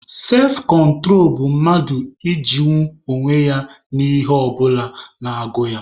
Sefkontro bụ mmadụ ijinwu onwe ya n'ihe ọ bụla na-agụ ya.